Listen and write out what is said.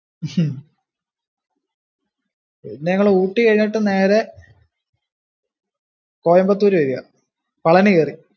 ഹും പിന്നെ ഞങ്ങള് ഊട്ടി കഴിഞ്ഞിട്ട് നേരെ, , കോയമ്പത്തൂര് വഴിയാ, പളനി കേറി.